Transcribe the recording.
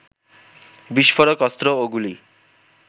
বিস্ফোরক, অস্ত্র ও গুলি